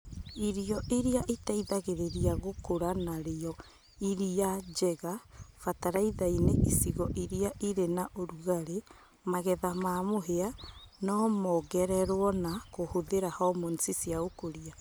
Indo iria iteithagĩrĩria gũkũra na rio iria njega fatalaithainĩ icigo iria irĩ na ũrugarĩ magetha ma mũhĩa no mongererwo na kũhũthĩra hormones cia ũkũria